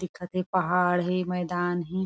दिखत थे पहाड़ हेमैदान हे।